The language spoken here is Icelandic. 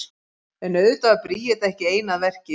En auðvitað var Bríet ekki ein að verki.